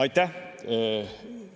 Aitäh!